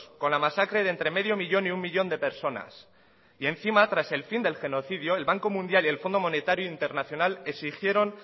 con la masacre de entre medio millón y un millón de personas y encima tras el fin del genocidio el banco mundial y el fondo monetario internacional exigieron